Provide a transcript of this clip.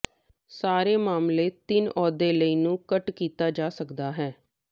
ਸਾਰੇ ਮਾਮਲੇ ਤਿੰਨ ਅਹੁਦੇ ਲਈ ਨੂੰ ਘੱਟ ਕੀਤਾ ਜਾ ਸਕਦਾ ਹੈ